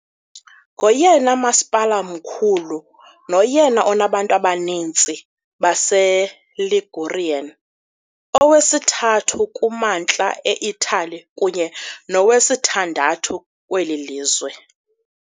Ngoyena masipala mkhulu noyena unabantu abaninzi baseLigurian, owesithathu kuMantla eItali kunye nowesithandathu kweli lizwe.